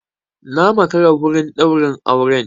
Na makara a wurin ɗaurin auren.